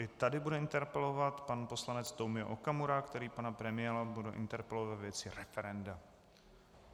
I tady bude interpelovat pan poslance Tomio Okamura, který pana premiéra bude interpelovat ve věci referenda.